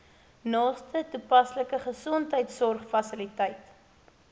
naaste toepaslike gesondheidsorgfasiliteit